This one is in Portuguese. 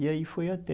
E aí foi até...